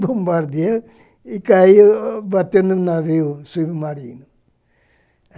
Bombardeou e caiu batendo no navio submarino.